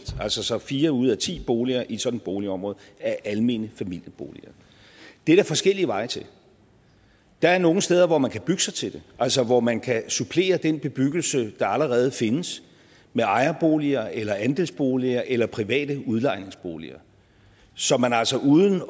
altså så fire ud af ti boliger i et sådant boligområde er almene familieboliger det er der forskellige veje til der er nogle steder hvor man kan bygge sig til det altså hvor man kan supplere den bebyggelse der allerede findes med ejerboliger eller andelsboliger eller private udlejningsboliger så man altså uden